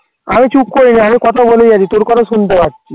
আমি চুপ করে যাই আমি কথা বলি বেশি, তোর কথা শুনতে পাচ্ছি।